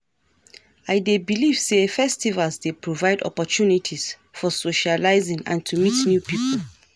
I dey believe say festivals dey provide opportunities for socializing and to meet new people.